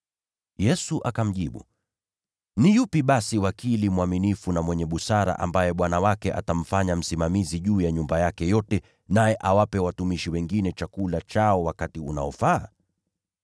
Yesu akamjibu, “Ni yupi basi wakili mwaminifu na mwenye busara, ambaye bwana wake atamfanya msimamizi juu ya watumishi wake wote, ili awape watumishi wengine chakula chao wakati unaofaa?